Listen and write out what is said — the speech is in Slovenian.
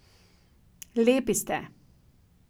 Lepi ste!